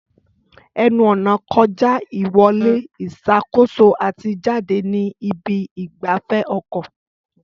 Ẹnu-ọ̀nà kọjá ìwọlé ìṣàkóso àti jáde ní ibi ìgbafẹ́ ọkọ̀.